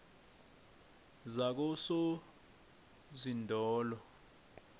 zakososinodolo